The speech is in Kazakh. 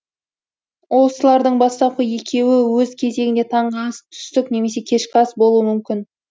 осылардың бастапқы екеуі өз кезегінде таңғы ас түстік немесе кешкі ас болуы мүмкін